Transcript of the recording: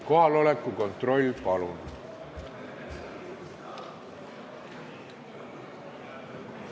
Kohaloleku kontroll, palun!